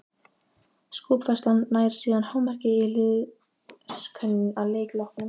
Skopfærslan nær síðan hámarki í liðskönnun að leik loknum.